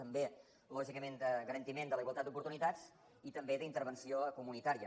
també lògicament de garantiment de la igualtat d’oportunitats i també d’intervenció comunitària